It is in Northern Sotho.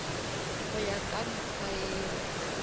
go ya ka mekgwa yeo